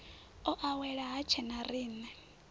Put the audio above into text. o awela ha tshena riṋe